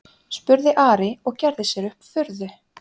spurði Ari og gerði sér upp furðu.